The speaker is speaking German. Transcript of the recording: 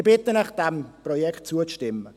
Ich bitte Sie, diesem Projekt zuzustimmen.